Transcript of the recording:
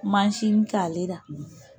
k'ale la